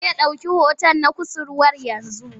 Zai ɗauki hoton na kusurwa yanzu.